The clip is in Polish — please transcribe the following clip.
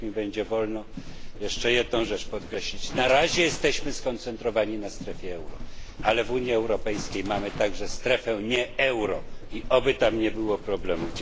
I niech mi będzie wolno jeszcze jedną rzecz podkreślić na razie jesteśmy skoncentrowani na strefie euro, ale w Unii Europejskiej mamy także strefę nie euro i oby tam nie było problemów.